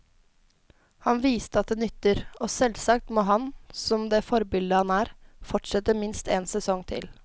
Han viste at det nytter, og selvsagt må han, som det forbilde han er, fortsette minst en sesong til.